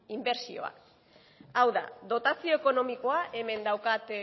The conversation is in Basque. inbertsioa hau da dotazio ekonomikoa hemen daukat